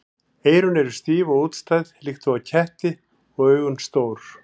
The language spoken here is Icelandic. Eyrun eru stíf og útstæð líkt og á ketti og augun stór.